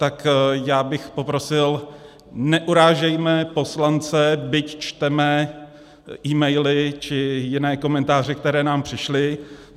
Tak bych poprosil, neurážejme poslance, byť čteme e-maily či jiné komentáře, které nám přišly.